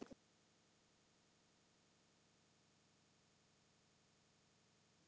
Hvernig ertu í dag?